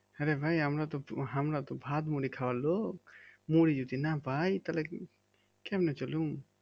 হ্যাঁ রে ভাই আমরা তো আমরা তো ভাত মুড়ি খাবার লোক মুড়ি যদি না পাই তাহলে কেমনে চলুম